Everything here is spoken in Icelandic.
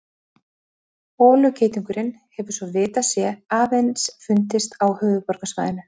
Holugeitungurinn hefur svo vitað sé aðeins fundist á höfuðborgarsvæðinu.